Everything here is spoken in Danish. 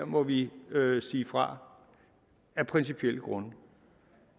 må vi sige fra af principielle grunde